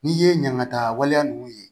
N'i ye ɲangata waleya ninnu ye